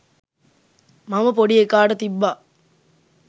මම පොඩි එකාට තිබ්බා.